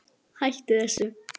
Hættu þessu.